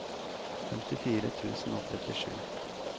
femtifire tusen og trettisju